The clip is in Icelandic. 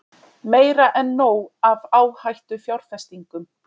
Meira en nóg af áhættufjárfestingum